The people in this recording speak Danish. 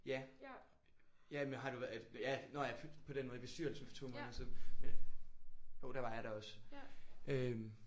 Ja jamen har du været ja nå ja på den måde i bestyrelsen for 2 måneder siden. Men jo der var jeg der også øh